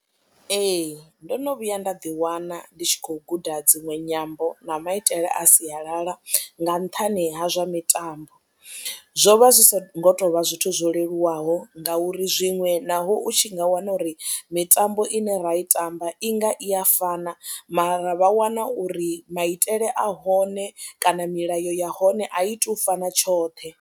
Ee ndo no vhuya nda ḓiwana ndi tshi khou guda dziṅwe nyambo na maitele a sialala nga nṱhani ha zwa mitambo, zwo vha zwi songo tou vha zwithu zwo leluwaho ngauri zwiṅwe naho u tshi nga wana uri mitambo ine ra i tamba i nga i ya fana mara vha wana uri maitele a hone kana milayo ya hone a i tou fana tshoṱhe.